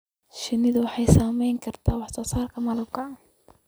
Shinnidu waxay saameyn kartaa wax soo saarka malabka.